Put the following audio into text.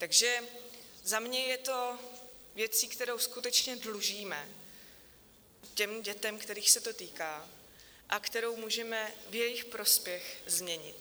Takže za mě je to věcí, kterou skutečně dlužíme těm dětem, kterých se to týká a kterou můžeme v jejich prospěch změnit.